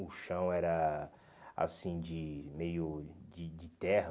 O chão era, assim, de meio... De de terra.